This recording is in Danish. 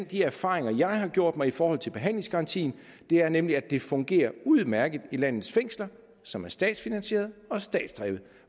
de erfaringer jeg har gjort mig i forhold til behandlingsgaranti er nemlig at det fungerer udmærket i landets fængsler som er statsfinansierede og statsdrevne